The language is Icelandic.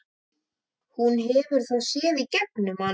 Þess vegna er ég dálítið feimin.